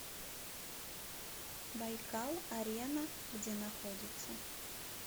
байкал арена где находится